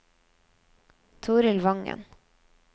Torild Wangen